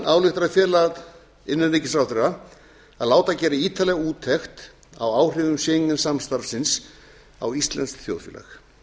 ályktar að fela innanríkisráðherra að láta gera ítarlega úttekt á áhrifum schengen samstarfsins á íslenskt þjóðfélag